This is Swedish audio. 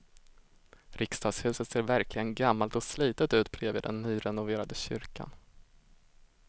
Riksdagshuset ser verkligen gammalt och slitet ut bredvid den nyrenoverade kyrkan.